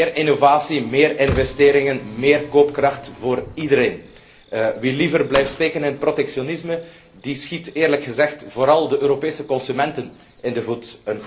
Meer innovatie, meer investeringen, meer koopkracht voor iedereen. Wie liever blijft steken in protectionisme, schiet eerlijk gezegd vooral de Europese consument in de voet.